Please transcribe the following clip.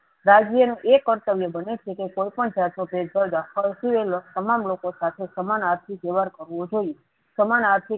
રાજ્યનું એ કર્તવ્ય બને છેકે કોઈપણ જાતનો ભેદભાવ રાખવા સિવાયનો તમામ લોકો સાથે સમાન આર્થિક વ્યવહાર કરવો જોઈએ. સમાન આર્થિક